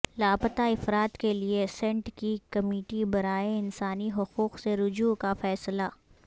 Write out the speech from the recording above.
لاپتہ افراد کے لیے سینٹ کی کمیٹی برائے انسانی حقوق سے رجوع کا فیصلہ